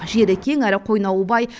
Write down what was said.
жері кең әрі қойнауы бай